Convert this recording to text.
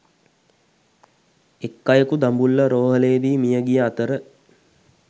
එක් අයකු දඹුල්ල රෝහ‍ලේදී මිය ගිය අතර